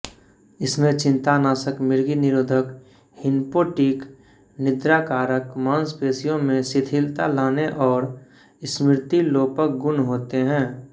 इसमें चिंतानाशक मिर्गी निरोधक हिप्नोटिक निद्राकारक मांसपेशियों में शिथिलता लाने और स्मृतिलोपक गुण होते हैं